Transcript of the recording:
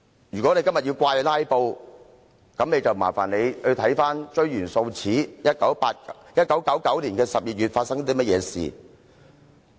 "如果他們今天要怪責"拉布"，那便煩請他們追源溯始，看看1999年發生何事。